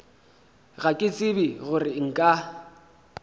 ga ke tsebe gore nka